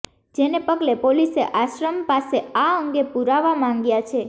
જેને પગલે પોલીસે આશ્રમ પાસે આ અંગે પુરાવા માંગ્યા છે